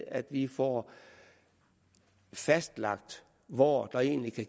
at vi får fastlagt hvor der egentlig kan